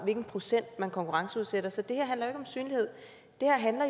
en procentdel man konkurrenceudsætter så det her handler jo ikke om synlighed det her handler